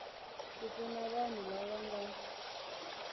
ku pfuna vanhu lava nga